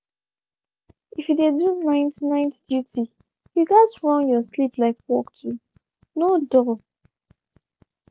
if you dey do night night duty you gats run your sleep like work too no dull